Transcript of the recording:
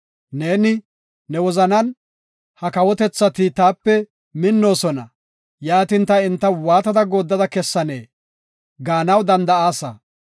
Neeni, ne wozanan, “Ha kawotethati taape minnoosona; yaatin, ta enta waatada gooddada kessanee?” gaanaw danda7aasa.